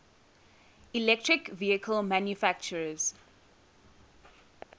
electric vehicle manufacturers